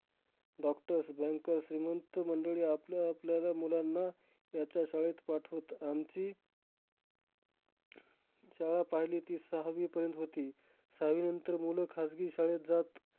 Doctors, bankers श्रीमंत मंडळी आपल्या आपल्याला मुलांना ह्याच्या शाळेत पाठवत. आमची शाळा पाहिली ती सहावीपर्यंत होती. सहावीनंतर मुलं खाजगी शाळेत जात.